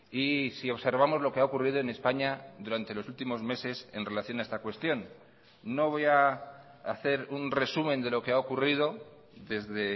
y si observamos lo que ha ocurrido en españa durante los últimos meses en relación a esta cuestión no voy a hacer un resumen de lo que ha ocurrido desde